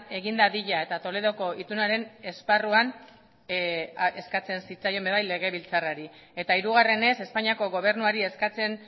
egin dadila eta toledoko itunaren esparruan eskatzen zitzaien ere legebiltzarrari eta hirugarrenez espainiako gobernuari eskatzen